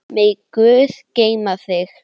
Megi Guð geyma þig.